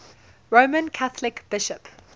roman catholic bishop